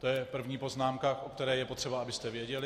To je první poznámka, o které je potřeba, abyste věděli.